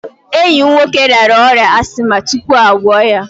Enyi m nwoke rịara ọrịa ashịma tupu a gwọ ya.